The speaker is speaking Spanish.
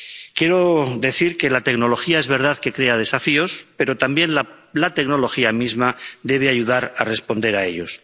Quiero decir que la tecnología es verdad que crea desafíos, pero también la tecnología misma debe ayudar a responder a ellos.